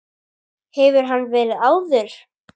Hefur hann verið áður?